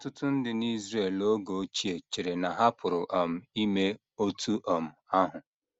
Ọtụtụ ndị n’Israel oge ochie chere na ha pụrụ um ime otú um ahụ.